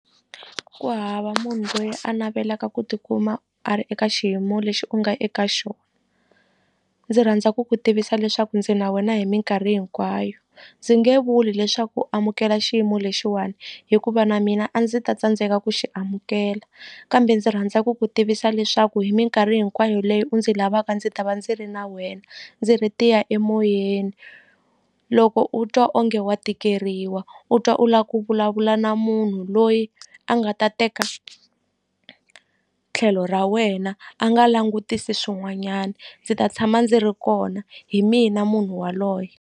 Ku hava munhu loyi a navelaka ku tikuma a ri eka xiyimo lexi u nga eka xo ndzi rhandza ku ku tivisa leswaku ndzi na wena hi minkarhi hinkwayo ndzi nge vuli leswaku u amukela xiyimo lexiwani hikuva na mina a ndzi ta tsandzeka ku xi amukela kambe ndzi rhandza ku ku tivisa leswaku hi minkarhi hinkwayo leyi u ndzi lavaka ndzi ta va ndzi ri na wena ndzi ri tiya emoyeni loko u twa onge wa tikeriwa u twa u la ku vulavula na munhu loyi a nga ta teka tlhelo ra wena a nga langutisi swin'wanyana ndzi ta tshama ndzi ri kona hi mina munhu waloye.